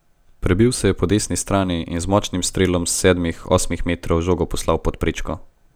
Prebil se je po desni strani in z močnim strelom s sedmih, osmih metrov žogo poslal pod prečko.